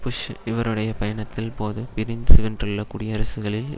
push இவருடைய பயணத்தின் போது பிரிந்து சென்றுள்ள குடியரசுகளின்